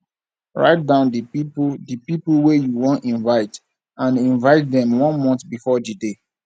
write down di pipo di pipo wey you won invite and invite dem one month before di day